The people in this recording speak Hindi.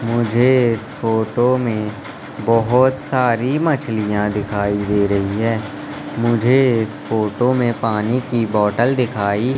मुझे इस फोटो में बहुत सारी मछलियां दिखाई दे रही हैं मुझे इस फोटो में पानी की बोतल दिखाई--